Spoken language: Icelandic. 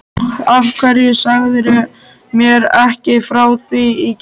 Af hverju sagðirðu mér ekki frá því í gær?